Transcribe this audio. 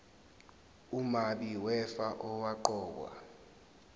umabi wefa owaqokwa